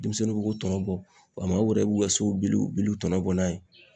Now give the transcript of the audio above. Denmisɛnninw be k'o tɔnɔ bɔ wa mɔgɔmɔw yɛrɛ b'u k'u ka sow biliw biliw tɔnɔbɔ n'a ye